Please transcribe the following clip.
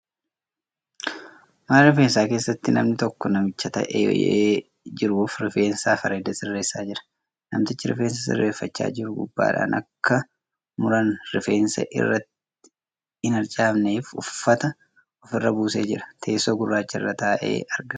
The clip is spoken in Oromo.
Mana rifeensaa keessatti namni tokko namicha taa'ee jiruuf rifeensa fi areeda sirreessaa jira. Namtichi rifeensa sirreeffachaa jiru gubbaadhaan akka muraan rifeensaa irratti hin harcaaneef uffata ofirra buusee jira. Teessoo gurraacha irra taa'ee argama.